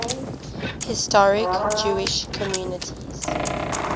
historic jewish communities